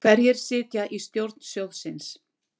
Hverjir sitja í stjórn sjóðsins?